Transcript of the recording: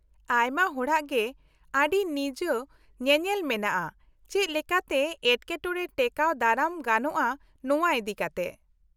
-ᱟᱭᱢᱟ ᱦᱚᱲᱟᱜ ᱜᱮ ᱟᱹᱰᱤ ᱱᱤᱡ ᱧᱮᱧᱮᱞ ᱢᱮᱱᱟᱜᱼᱟ ᱪᱮᱫ ᱞᱮᱠᱟᱛᱮ ᱮᱴᱠᱮᱴᱚᱬᱮ ᱴᱮᱠᱟᱣ ᱫᱟᱨᱟᱢ ᱜᱟᱱᱚᱜᱼᱟ ᱱᱚᱶᱟ ᱤᱫᱤᱠᱟᱛᱮ ᱾